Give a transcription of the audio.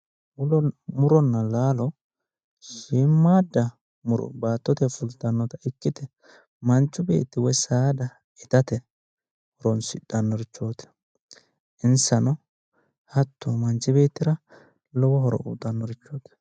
Muronna laalo. Shiimmaadda muro baattote fulltannota ikkite manchu beetti woyi saada itate horonsidhannoreeti. Insano manchu beettira lowo horo uyitannorichooti